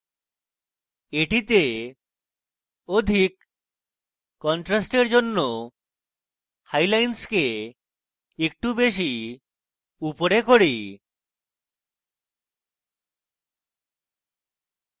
এটিতে অধিক contrast জন্য হাই lines একটু বেশী উপরে করি